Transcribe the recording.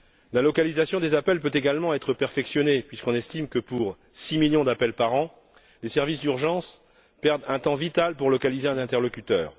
La localisation des appels peut également être perfectionnée puisqu'on estime que, pour 6 millions d'appels par an, les services d'urgence perdent un temps vital pour localiser un interlocuteur.